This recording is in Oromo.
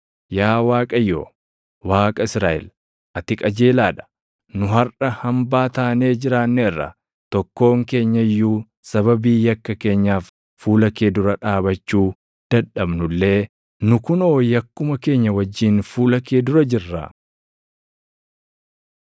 Yaa Waaqayyo Waaqa Israaʼel, ati qajeelaa dha! Nu harʼa hambaa taanee jiraanneerra. Tokkoon keenya iyyuu sababii yakka keenyaaf fuula kee dura dhaabachuu dadhabnu illee nu kunoo yakkuma keenya wajjin fuula kee dura jirra.”